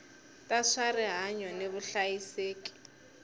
ta swa rihanyu ni vuhlayiseki